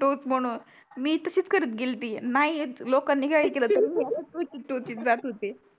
टोच म्हणून मी तशीच करत गेल्ती नाही येत लोकांनी काही ही केलं तरी मी अशीच टोचीत टोचीत जात होती